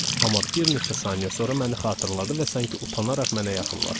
Amma bir neçə saniyə sonra məni xatırladı və sanki utanaraq mənə yaxınlaşdı.